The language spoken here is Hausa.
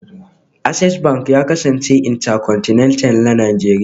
Access Banki ya kasance bankin Intercontinental na Najeriya